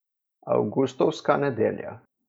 Avgustovska nedelja.